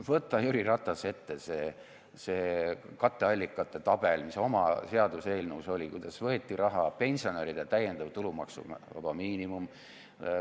Võta, Jüri Ratas, ette see katteallikate tabel, mis oma seaduseelnõus oli, kuidas võeti raha, pensionäride tulumaksuvaba miinimum.